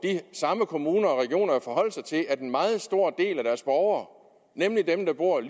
samme kommuner og regioner jo forholde sig til at en meget stor del af deres borgere nemlig dem der bor